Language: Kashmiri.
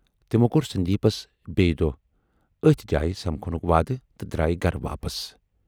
تِمو کور سندیپس بییہِ دۅہ ٲتھۍ جایہِ سمکھنُک وادٕ تہٕ درایہِ گَرٕ واپس۔